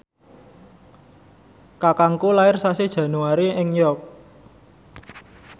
kakangku lair sasi Januari ing York